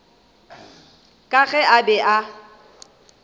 ka ge a be a